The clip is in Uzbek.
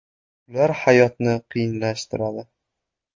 Ular hayotni qiyinlashtiradi.